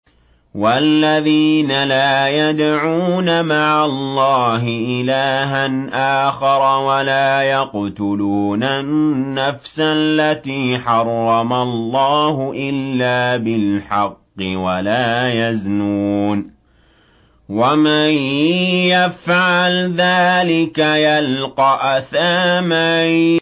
وَالَّذِينَ لَا يَدْعُونَ مَعَ اللَّهِ إِلَٰهًا آخَرَ وَلَا يَقْتُلُونَ النَّفْسَ الَّتِي حَرَّمَ اللَّهُ إِلَّا بِالْحَقِّ وَلَا يَزْنُونَ ۚ وَمَن يَفْعَلْ ذَٰلِكَ يَلْقَ أَثَامًا